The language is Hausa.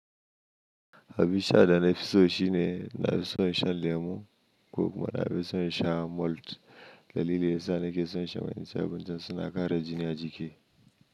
Habasha dana fisu shina na fisu shan lemu ko kuma na fisu shan malt. Dalili yasa nake so in sha manyan saboda suna kare jini a jiki.